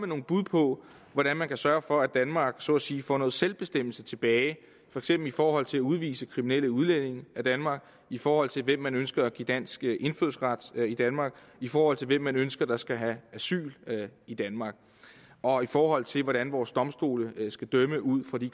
nogle bud på hvordan man kan sørge for at danmark så at sige får noget selvbestemmelse tilbage for eksempel i forhold til at udvise kriminelle udlændinge af danmark i forhold til hvem man ønsker at give dansk indfødsret i danmark i forhold til hvem man ønsker skal have asyl i danmark og i forhold til hvordan vores domstole skal dømme ud fra de